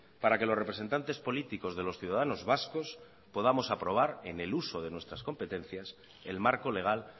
para que los representantes políticos de los ciudadanos vascos podamos aprobar en el uso de nuestras competencias el marco legal